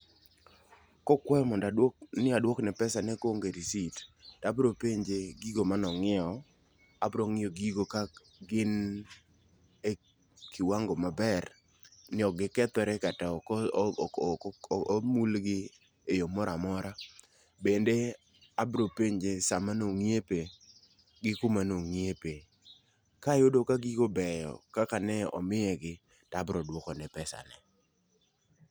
Kokwayo monda adwo ni adwok ne pesane koonge risit, abro penje gigo mano ng'iewo, abro ng'iyo gigo ka gin e kiwango maber ni ok gikethre kata ok ok ok ok omuylgi e yoo moramora . Bende abro penje saa manongi'epe gi kama nong'iepe. Kayudo ka gigo beyo kaka nomiye gi tabro duoko ne pesane.